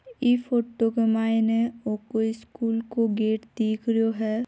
इ फोटो के मायने ओ कोई स्कुल को गेट दिख रहियो है।